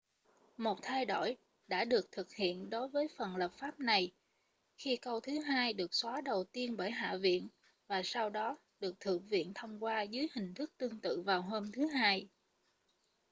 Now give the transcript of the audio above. một thay đổi đã được thực hiện đối với phần lập pháp này khi câu thứ hai được xóa đầu tiên bởi hạ viện và sau đó được thượng viện thông qua dưới hình thức tương tự vào hôm thứ hai